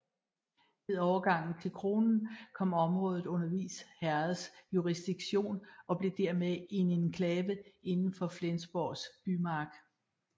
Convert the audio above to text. Ved overgangen til kronen kom området under Vis Herreds jurisdiktion og blev dermed en enklave inden for Flensborgs bymark